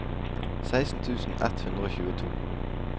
seksten tusen ett hundre og tjueto